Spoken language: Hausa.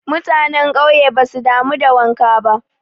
Mutane ƙauye basu damu da wanka ba.